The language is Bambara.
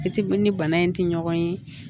I ti ni bana in tɛ ɲɔgɔn ye